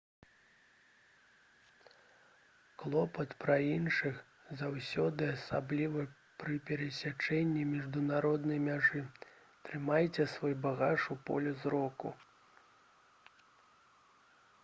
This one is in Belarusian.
клопат пра іншых — заўсёды асабліва пры перасячэнні міжнароднай мяжы трымайце свой багаж у полі зроку